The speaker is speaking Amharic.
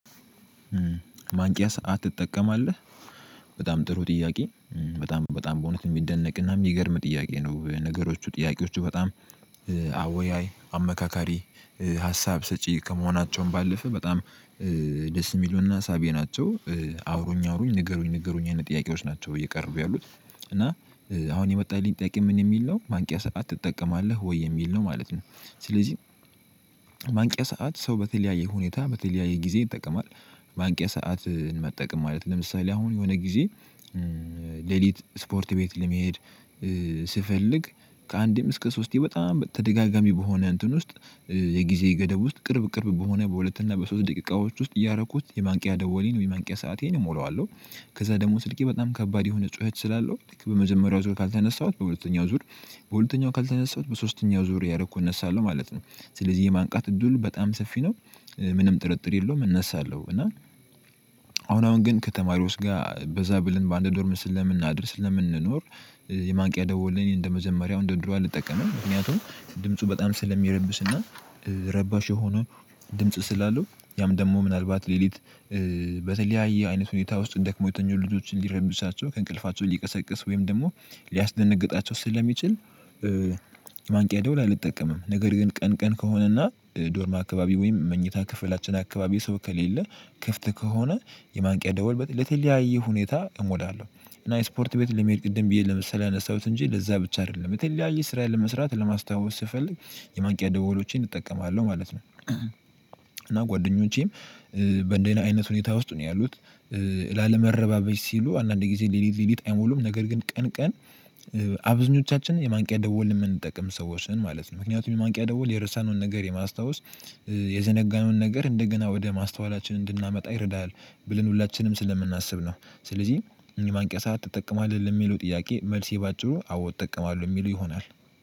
ማንቂያ ሰዓት ትጠቀማለህ? በጣም ጥሩ ጥያቄ በጣም በጣም በእውነት የሚደነቅና የሚገርም ጥያቄ ነው ነገሮቹ ጥያቄዎቹ በጣም አወያይ አመካካሪ ሀሳብ ሰጪ ከመሆናቸውም ባለፈ በጣም ደስ ሚሉና ሳቢ ናቸው። አውሩኝ አውሩኝ ንገሩኝ ንገሩኝ አይነት ጥያቄዎች ናቸው እየቀረቡ ያሉት። እና አሁን የመጣልኝ ጥያቄ ምን የሚል ነው? ማንቂያ ሰዓት ትጠቀማለህ ወይ የሚል ነው ማለት ነው። ስለዚህ ማንቂያ ሰዓት ሰው በተለያየ ሁኔታ በተለያየ ጊዜ ይጠቀማል። ማንቂያ ሰዓትን መጠቀም ማለት ለምሳሌ አሁን የሆነ ጊዜ ሌሊት ስፖርት ቤት ለመሄድ ስፈልግ ከአንዴም እስከ ሶስቴ በጣም ተደጋጋሚ በሆነ እንትን ውስጥ የጊዜ ገደብ ውስጥ ቅርብ ቅርብ በሆነ በሁለት እና በሶስት ደቂቃዎች ውስጥ እያረኩት የማንቂያ ደወሌን ወይም የማንቂያ ሰአቴን እሞላዋለሁ። ከዛ ደግሞ ስልኬ በጣም ከባድ የሆነ ጩኸት ስላለው ልክ በመጀመሪያው ዙር ካልተነሳሁት በሁለተኛው ዙር በሁለተኛው ካልተነሳሁት በሶስተኛው ዙር ያደረኩ እነሳለሁ ማለት ነው። ስለዚህ የማንቃት እድሉ በጣም ሰፊ ነው። ምንም ጥርጥር የለውም እነሳለሁ። እና አሁን አሁን ግን ከተማሪዎች ጋር በዛ ብለን በአንድ ዶርም ስለምናድር ስለምንኖር የማንቂያ ደወልን እኔ እንደመጀመርያው እንደድሮ አልጠቀምም። ምክንያቱም ድምፁ በጣም ስለሚረብሽና ረባሽ የሆኑ ድምጽ ስላለው ያም ደግሞ ምናልባት ሌሊት በተለያየ አይነት ሁኔታ ውስጥ ደክሞ የተኙ ልጆችን ሊረብሻቸው ከእንቅልፋቸው ሊቀሰቅስ ወይም ደግሞ ሊያስደነግጣቸው ስለሚችል ማንቂያ ደውል አልጠቀምም ነገር ግን ቀን ቀን ከሆነና ዶርም አካባቢ ወይም መኝታ ክፍላችን አካባቢ የሰው ከሌለ ክፍት ከሆነ የማንቂያ ደወል ለተለያየ ሁኔታ እሞላለሁ እና ስፖርት ቤት ለመሄድ ቅድም ብዬ ለምሳሌ ያነሳሁት እንጂ ለዛ ብቻ አይደለም የተለያየ ስራ ለመስራት ለማስታወስ ስፈልግ የማንቂያ ደውሎቼን እጠቀማለሁ ማለት ነው። እና ጓደኞቼም አይነት ሁኔታ ውስጥ ነው ያሉት። ላለመረባበሽ ሲሉ አንዳንድ ጊዜ ሌሊት ሌሊት አይሞሉም። ነገር ግን ቀን ቀን አብዛኞቻችን የማንቂያ ደወል የምንጠቅም ሰዎች ነን ማለት ነው። ምክንያቱም የማንቂያ ደወል የረሳነውን ነገር የማስታወስ የዘነጋነውን ነገር እንደገና ወደ ማስተዋላችን እንድናመጣ ይረዳል ብለን ሁላችንም ስለምናስብ ነው። ስለዚህ የማንቂያ ሰዓት ትጠቀማለህ ለሚለው ጥያቄ መልሴ ባጭሩ አዎ እጠቀማለሁ የሚለው ይሆናል።